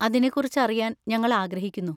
അതിനെക്കുറിച്ച് അറിയാൻ ഞങ്ങൾ ആഗ്രഹിക്കുന്നു.